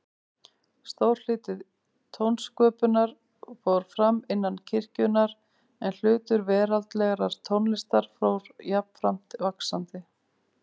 Stór hluti tónsköpunar fór fram innan kirkjunnar, en hlutur veraldlegrar tónlistar fór jafnframt vaxandi.